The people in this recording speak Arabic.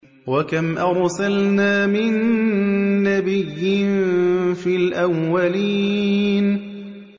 وَكَمْ أَرْسَلْنَا مِن نَّبِيٍّ فِي الْأَوَّلِينَ